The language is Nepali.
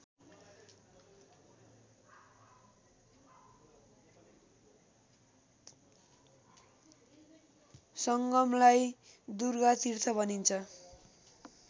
सङ्गमलाई दुर्गातीर्थ भनिन्छ